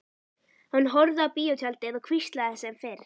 Hann horfði á bíótjaldið og hvíslaði sem fyrr.